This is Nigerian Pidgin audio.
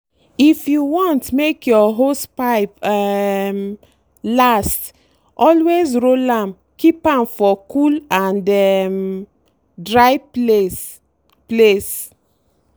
if you wan make your hosepipe um last always roll am keep for cool and um dry place. place.